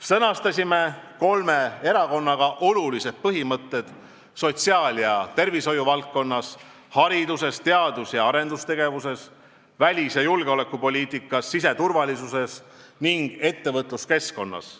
Sõnastasime kolme erakonnaga olulised põhimõtted sotsiaal- ja tervishoiu valdkonnas, hariduses, teadus- ja arendustegevuses, välis- ja julgeolekupoliitikas, siseturvalisuses ning ettevõtluskeskkonnas.